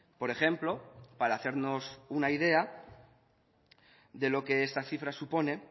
por ejemplo para hacernos una idea de lo que esta cifra supone